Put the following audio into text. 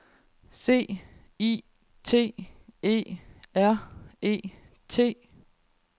C I T E R E T